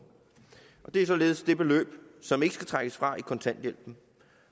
det er således det beløb som ikke skal trækkes fra i kontanthjælpen